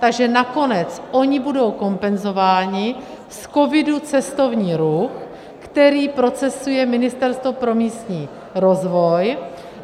Takže nakonec oni budou kompenzováni z COVID - Cestovní ruch, který procesuje Ministerstvo pro místní rozvoj.